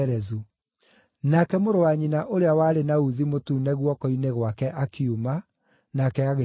Nake mũrũ wa nyina ũrĩa warĩ na uthi mũtune guoko-inĩ gwake akiuma, nake agĩtuuo Zera.